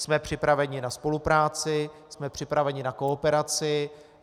Jsme připraveni na spolupráci, jsme připraveni na kooperaci.